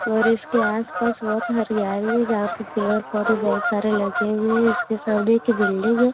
और इसके आस-पास बोहत बहु हरियाली है। जहाँ पर पेड़-पौधे बोहोत सारे लगे हुए हैं। इसके सामने एक बिल्डिंग है।